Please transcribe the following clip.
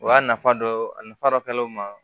O y'a nafa dɔ ye a nafa dɔ kɛlen ma